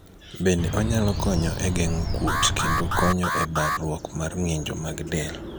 bende onyalo konyo e geng'o kuot kendo konyo e barruok mar ng'injo mag del